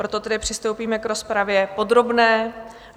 Proto tedy přistoupíme k rozpravě podrobné.